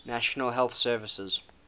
national health service